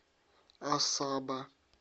асаба